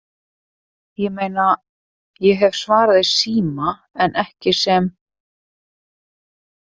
Ég meina, ég hef svarað í síma, en ekki sem